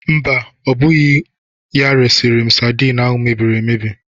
Mba, ọ bụghị ya resịrị m sadin ahụ mebiri emebi.